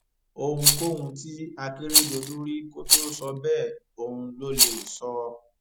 ohunkóhun tí akérèdọlù rí kó tóó sọ bẹẹ òun lo lè sọ